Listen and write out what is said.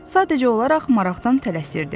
Sadəcə olaraq maraqdan tələsirdi.